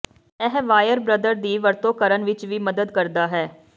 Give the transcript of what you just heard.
ਇਹ ਵਾਇਰ ਬ੍ਰਦਰ ਦੀ ਵਰਤੋਂ ਕਰਨ ਵਿੱਚ ਵੀ ਮਦਦ ਕਰਦਾ ਹੈ